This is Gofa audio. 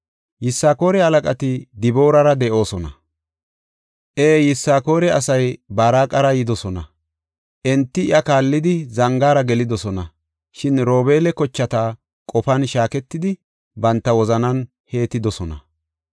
Yisakoora halaqati Diboorara de7oosona; ee, Yisakoore asay Baaraqara yidosona; enti iya kaallidi, zangaara gelidosona. Shin Robeela kochati qofan shaaketidi, banta wozanan heettidosona.